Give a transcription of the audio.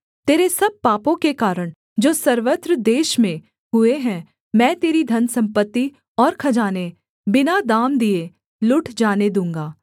तेरे सब पापों के कारण जो सर्वत्र देश में हुए हैं मैं तेरी धनसम्पत्ति और खजाने बिना दाम दिए लुट जाने दूँगा